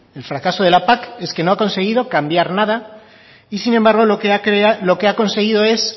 el fracaso de la pac es que no ha conseguido cambiar nada y sin embargo lo que ha conseguido es